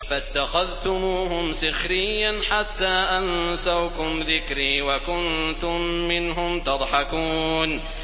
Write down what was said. فَاتَّخَذْتُمُوهُمْ سِخْرِيًّا حَتَّىٰ أَنسَوْكُمْ ذِكْرِي وَكُنتُم مِّنْهُمْ تَضْحَكُونَ